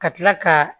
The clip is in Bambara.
Ka tila ka